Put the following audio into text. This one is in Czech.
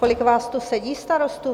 Kolik vás tu sedí starostů?